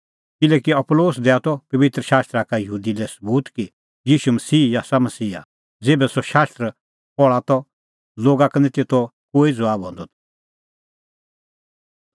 किल्हैकि अपूलोस दैआ त पबित्र शास्त्रा का यहूदी लै सबूत कि ईशू मसीहा ई आसा मसीहा ज़ेभै सह शास्त्र पहल़ा त लोगा का निं तेतो कोई ज़बाब हंदअ त